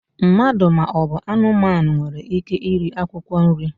Mmadụ ma ọ bụ anụmanụ nwere ike iri akwụkwọ nri.